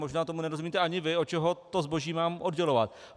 Možná tomu nerozumíte ani vy, od čeho to zboží mám oddělovat.